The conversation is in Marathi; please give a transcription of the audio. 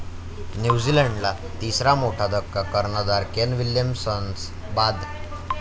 न्यूझीलंडला तिसरा मोठा धक्का, कर्णधार केन विल्यमसन्स बाद.